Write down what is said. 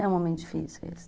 É um momento difícil esse